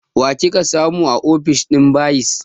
Wa kika samu a ofishin bayis?